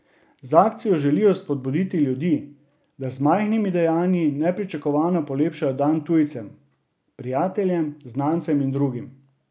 Z akcijo želijo spodbuditi ljudi, da z majhnimi dejanji nepričakovano polepšajo dan tujcem, prijateljem, znancem in drugim.